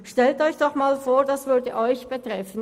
Stellen Sie sich einmal vor, Sie wären selber betreffen.